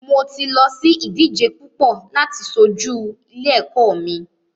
Mo ti lọ sí ìdíje púpọ láti ṣojú ilé ẹ̀kọ́ mi.